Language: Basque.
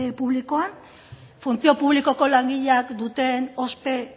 publikoa funtzio publikoko langileak duten ospe